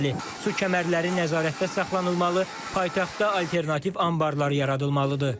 Su kəmərləri nəzarətdə saxlanılmalı, paytaxtda alternativ anbarlar yaradılmalıdır.